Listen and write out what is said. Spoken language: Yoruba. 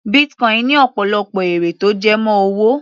Bitcoin ní ọ̀pọ̀lọpọ̀ èrè tó jẹ mọ́ owó.